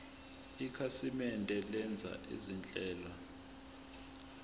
ikhasimende lenza izinhlelo